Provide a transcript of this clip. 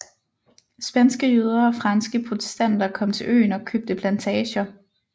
Spanske jøder og franske protestanter kom til øen og købte plantager